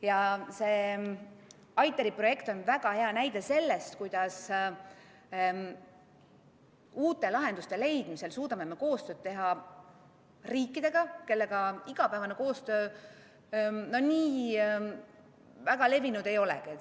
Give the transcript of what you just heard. ITER-i projekt on väga hea näide sellest, kuidas me uute lahenduste leidmisel suudame koostööd teha riikidega, kellega igapäevane koostöö nii väga levinud ei olegi.